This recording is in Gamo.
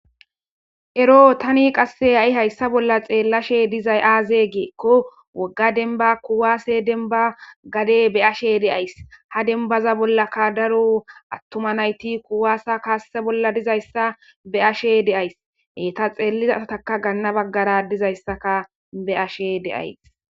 ero tani qasse ha7i hayssa bolla xeellashe dizay aaze geekko wogga denba kuwaase denba gade be ashe deays ha denbaza bollakka daro attuma nayti kuwaasa kaasese bolla dizayssa be ashe deays heta xeelliza sataka ganna baggara dizayssaka be ashe deays